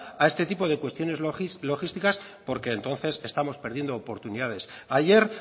a este tipo de cuestiones logísticas porque entonces estamos perdiendo oportunidades ayer